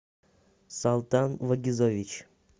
салтан вагизович